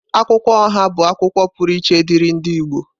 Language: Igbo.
Akwụkwọ oha bụ akwukwuo pụrụ iche diri ndi Igbo.